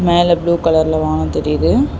மேல ப்ளூ கலர்ல வானோ தெரியிது.